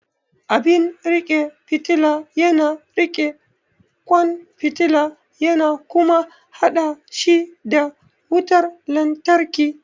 Abin riƙe fitila yana riƙe kwan fitila yana kuma haɗa shi da wutar lantarki.